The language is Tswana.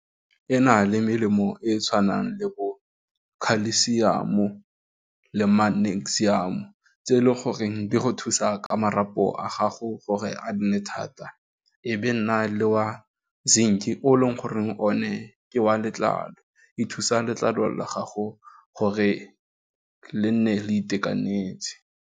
E na le melemo e e tshwanang le bo khalisiamo le magnesium-o tse e leng goreng di go thusa ka marapo a gago gore a nne thata, e be nna le wa zinc-i o e leng gore o ne ke wa letlalo e thusa letlalo la gago gore le nne le itekanetse.